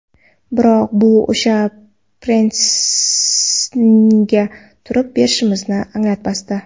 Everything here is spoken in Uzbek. Biroq bu o‘sha pressingga turib berishimizni anglatmasdi.